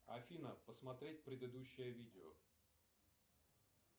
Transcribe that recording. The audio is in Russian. афина посмотреть предыдущее видео